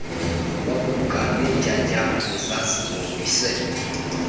wabuka neentyatyambo ezazihombise